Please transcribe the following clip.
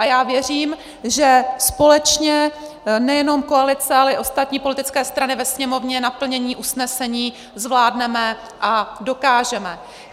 A já věřím, že společně, nejenom koalice, ale i ostatní politické strany ve Sněmovně, naplnění usnesení zvládneme a dokážeme.